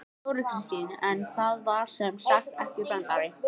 Þóra Kristín: En það var sem sagt ekki brandari?